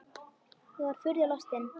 Ég var furðu lostin.